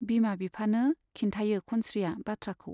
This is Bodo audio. बिमा बिफानो खिन्थायो खनस्रीया बाथ्राखौ।